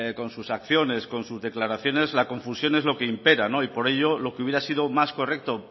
con sus acciones con sus declaraciones la confusión es lo que impera y por ello lo que hubiera sido más correcto